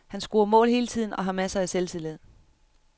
Han scorer mål hele tiden og har masser af selvtillid.